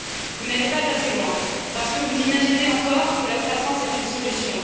Vous n'allez pas assez loin, parce que vous imaginez encore que la croissance est une solution.